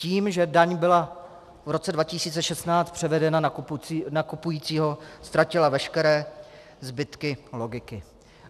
Tím, že daň byla v roce 2016 převedena na kupujícího, ztratila veškeré zbytky logiky.